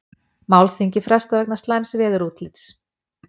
Málþingi frestað vegna slæms veðurútlits